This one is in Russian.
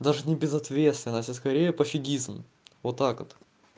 даже не безответственность а скорее пофигизм вот так вот